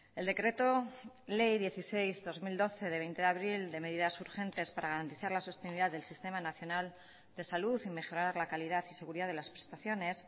el decreto ley dieciséis barra dos mil doce de veinte de abril de medidas urgentes para garantizar la sostenibilidad del sistema nacional de salud y mejorar la calidad y seguridad de las prestaciones